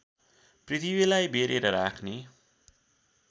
पृथ्वीलाई बेरेर राख्ने